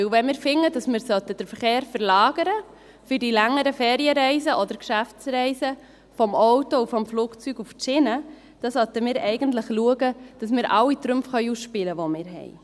Denn wir finden, dass wir den Verkehr verlagern sollten für die längeren Ferienreisen oder Geschäftsreisen vom Auto und vom Flugzeug auf die Schiene, und dann sollten wir eigentlich schauen, dass wir alle Trümpfe ausspielen können, die wir haben.